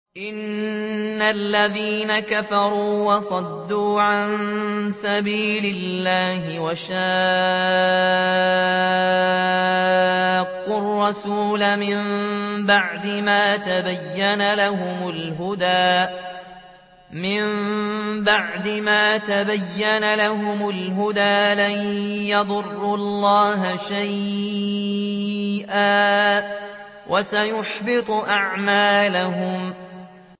إِنَّ الَّذِينَ كَفَرُوا وَصَدُّوا عَن سَبِيلِ اللَّهِ وَشَاقُّوا الرَّسُولَ مِن بَعْدِ مَا تَبَيَّنَ لَهُمُ الْهُدَىٰ لَن يَضُرُّوا اللَّهَ شَيْئًا وَسَيُحْبِطُ أَعْمَالَهُمْ